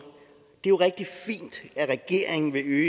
det er jo rigtig fint at regeringen vil øge